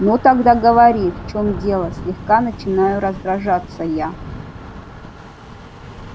ну тогда говори в чём дело слегка начинаю раздражаться я